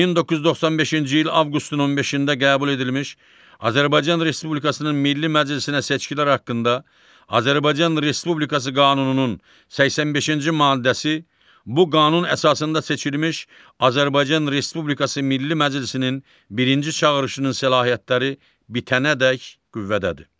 1995-ci il avqustun 15-də qəbul edilmiş Azərbaycan Respublikasının Milli Məclisinə seçkilər haqqında Azərbaycan Respublikası Qanununun 85-ci maddəsi bu qanun əsasında seçilmiş Azərbaycan Respublikası Milli Məclisinin birinci çağırışının səlahiyyətləri bitənədək qüvvədədir.